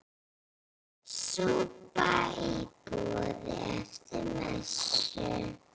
Súpa í boði eftir messu.